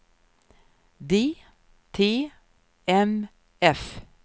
DTMF